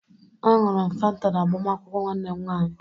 A ṅụrụ m fanta na agbamakwụkwọ nwanne m nwanyị